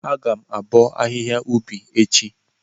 Agam abo ahihia ubi echi.